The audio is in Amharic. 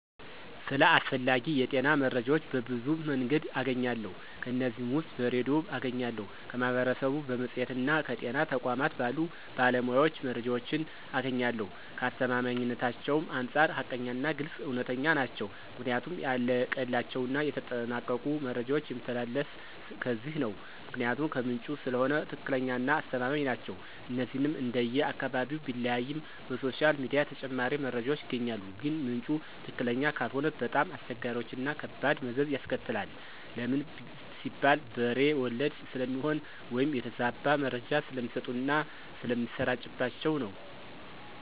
ስለ አስፈላጊ የጤና መረጃዎች በብዙ መንገድ አገኛለሁ ከነዚህም ውስጥ በሬድዮ አገኛለሁ፣ ከማህበረሰቡ፣ በመፅሔትና ከጤና ተቋማት ባሉ ባለሞያዎች መረጃዎችን አገኛለሁኝ፣ ከአስተማማኝነታቸውም አንፃር ሀቀኛና ግልፅ፣ እውነተኛ ናቸው ምክንያቱም ያለቀላቸውና የተጠናቀቁ መረጃዎች የሚተላለፊት ከነዚህ ነው ምክንያቱም ከምንጩ ስለሆነ ትክክለኛና አስተማማኝ ናቸው። እነዚህንም እንደየ አካባቢው ቢለያይም በሶሻል ሚዲያ ተጨማሪ መረጃዎች ይገኛሉ ግን ምንጩ ትክክለኛ ካልሆነ በጣም አስቸጋሪዎችና ከባድ መዘዝ ያስከትላል ለምን ሲባል በሬ ወለደ ስለሚሆን ወይም የተዛባ መረጃ ስለሚሰጡና ስለሚሰራጭባቸው ነው።